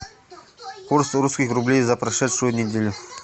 курс русских рублей за прошедшую неделю